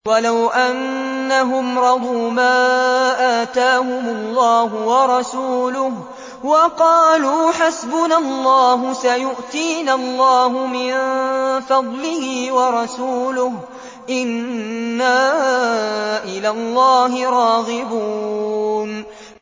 وَلَوْ أَنَّهُمْ رَضُوا مَا آتَاهُمُ اللَّهُ وَرَسُولُهُ وَقَالُوا حَسْبُنَا اللَّهُ سَيُؤْتِينَا اللَّهُ مِن فَضْلِهِ وَرَسُولُهُ إِنَّا إِلَى اللَّهِ رَاغِبُونَ